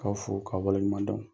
K'aw fo k'a waleɲumandɔn